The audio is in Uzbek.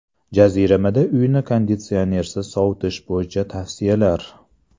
Jaziramada uyni konditsionersiz sovutish bo‘yicha tavsiyalar.